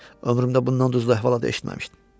Ömrümdə bundan duzlu əhvalat da eşitməmişdim.